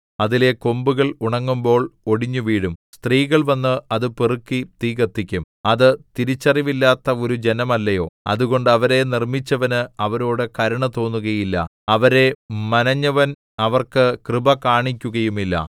അതിലെ കൊമ്പുകൾ ഉണങ്ങുമ്പോൾ ഒടിഞ്ഞുവീഴും സ്ത്രീകൾ വന്ന് അത് പെറുക്കി തീ കത്തിക്കും അത് തിരിച്ചറിവില്ലാത്ത ഒരു ജനമല്ലയോ അതുകൊണ്ട് അവരെ നിർമ്മിച്ചവന് അവരോടു കരുണ തോന്നുകയില്ല അവരെ മനെഞ്ഞവൻ അവർക്ക് കൃപ കാണിക്കുകയുമില്ല